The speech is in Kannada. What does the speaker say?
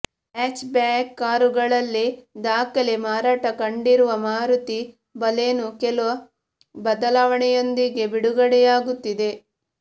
ಹ್ಯಾಚ್ಬ್ಯಾಕ್ ಕಾರುಗಳಲ್ಲಿ ದಾಖಲೆ ಮಾರಾಟ ಕಂಡಿರುವ ಮಾರುತಿ ಬಲೆನೊ ಕೆಲ ಬದಲಾವಣೆಯೊಂದಿಗೆ ಬಿಡುಗಡೆಯಾಗುತ್ತಿದೆ